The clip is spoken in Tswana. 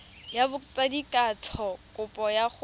ya botsadikatsho kopo ya go